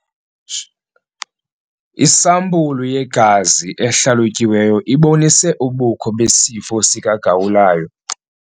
Isampulu yegazi ehlalutyiweyo ibonise ubukho besifo sikagawulayo.